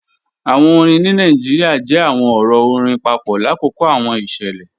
Awọn orin ni Nigeria jẹ awọn ọrọ ọ̀rìn papọ lakoko awọn iṣẹlẹ.